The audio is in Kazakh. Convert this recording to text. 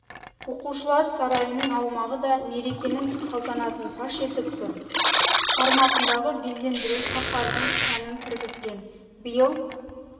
оқушылар сарайының аумағы да мерекенің салтанатын паш етіп тұр форматындағы безендіру шаһардың сәнін кіргізген биыл